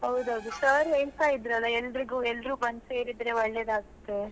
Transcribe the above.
ಹೌದೌದು sir ಹೇಳ್ತಾ ಇದ್ರಲ್ಲ ಎಲ್ಲರಿಗೂ, ಎಲ್ಲರೂ ಬಂದು ಸೇರಿದ್ರೆ ಒಳ್ಳೆದಾಗತ್ತೆ.